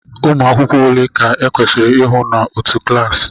Ụmụ akwụkwọ ole ka e kwesịrị ihụ n'otu klassi